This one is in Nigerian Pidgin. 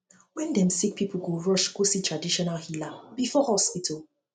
wen dem sick pipo go rush go see traditional healer before hospital